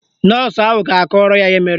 Nọọsụ ahụ ga-akọrọ ya ihe mere